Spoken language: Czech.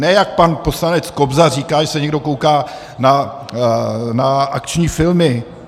Ne jak pan poslanec Kobza říká, že se někdo kouká na akční filmy.